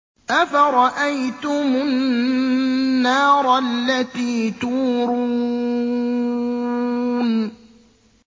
أَفَرَأَيْتُمُ النَّارَ الَّتِي تُورُونَ